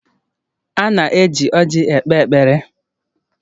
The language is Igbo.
A na-eji ọrji ekpe ekpere